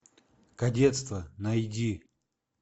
кадетство найди